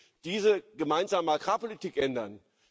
Wir müssen diese Gemeinsame Agrarpolitik ändern.